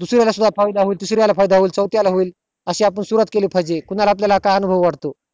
दुसर्यां ना सुद्धा फायदा होईल तिसऱ्या ला सुद्धा होईल चौथ्या ला होईल अशी आपण सुरवात केली पाहिजे कुणाला आपल्या आता अनुभव वाटो